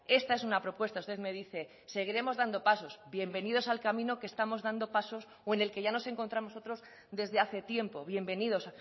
esta es una propuesta usted me dice seguiremos dando pasos bienvenidos al camino que estamos dando pasos o en el que ya nos encontramos otros desde hace tiempo bienvenidos